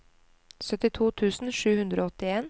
syttito tusen sju hundre og åttien